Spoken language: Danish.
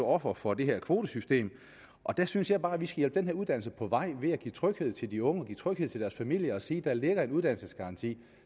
offer for det her kvotesystem og der synes jeg bare at vi skal hjælpe den her uddannelse på vej ved at give tryghed til de unge og give tryghed til deres familier og sige der ligger en uddannelsesgaranti